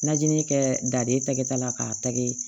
Najinin kɛ da de tɛ kɛ kɛta la k'a tɛgɛ